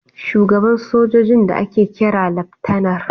Shugaban sojojin da ake kira Laftanar...